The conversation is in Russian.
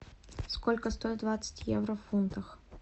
сколько стоит двадцать евро в фунтах